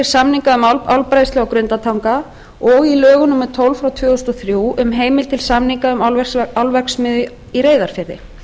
samninga um álbræðslu á grundartanga og í lögum númer tólf tvö þúsund og þrjú um heimild til samninga um álverksmiðju í reyðarfirði